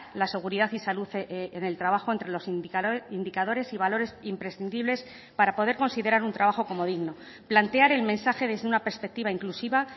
la seguridad y salud en el trabajo entre los indicadores y valores imprescindibles para poder considerar un trabajo como digno plantear el mensaje desde una perspectiva inclusiva